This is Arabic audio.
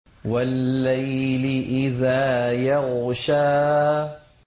وَاللَّيْلِ إِذَا يَغْشَىٰ